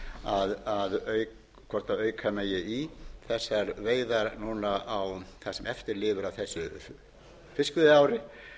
sé skoðað hvort auka megi í þessar veiðar núna á það sem eftir lifi af þessu fiskveiðiári